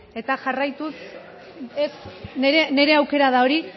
nire aukera da hori